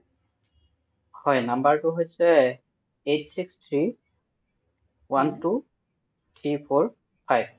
হয় number টো হৈছে eight six three one two three four five